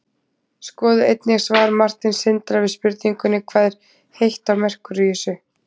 skoðið einnig svar marteins sindra við spurningunni hvað er heitt á merkúríusi